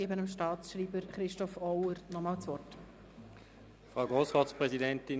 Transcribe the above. Ich gebe nun dem Staatsschreiber, Christoph Auer, das Wort.